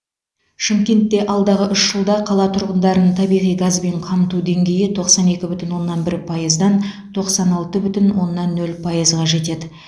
шымкентте алдағы үш жылда қала тұрғындарын табиғи газбен қамту деңгейі тоқсан екі бүтін оннан бір пайыздан тоқсан алты бүтін оннан нөл пайызға жетеді